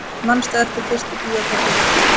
Manstu eftir fyrstu bíóferð þinni?